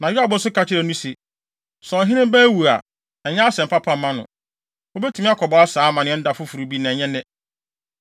Na Yoab nso ka kyerɛɛ no se, “Sɛ ɔhene ba awu a, ɛnyɛ asɛm papa mma no. Wubetumi akɔbɔ saa amanneɛ no da foforo bi, na ɛnyɛ nnɛ.”